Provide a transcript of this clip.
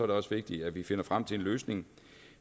det også vigtigt at vi finder frem til en løsning